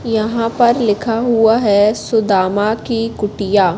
यहां पर लिखा हुआ है सुदामा की कुटिया।